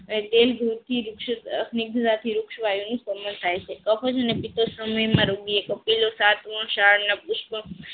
પુસ્તક એક વૃક્ષથી વૃક્ષ વાઈ નું સમાન થાય છે અખ જ અને પિતૃ શ્રમણીના રોગોથી પેલો સાતમો સાર અને પુષ્પ